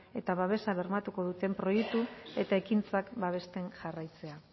eta babesa bermatuko duten proiektu eta ekintzak babesten jarraitzea